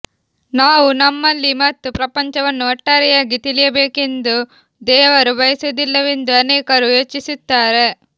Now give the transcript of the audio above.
ನಾವು ನಮ್ಮಲ್ಲಿ ಮತ್ತು ಪ್ರಪಂಚವನ್ನು ಒಟ್ಟಾರೆಯಾಗಿ ತಿಳಿಯಬೇಕೆಂದು ದೇವರು ಬಯಸುವುದಿಲ್ಲವೆಂದು ಅನೇಕರು ಯೋಚಿಸುತ್ತಾರೆ